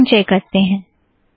दोबारा संचय करते हैं